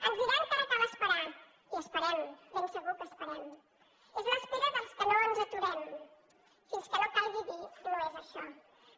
ens diran que ara cal esperar i esperem ben segur que esperem és l’espera dels que no ens aturarem fins que no calgui dir no és això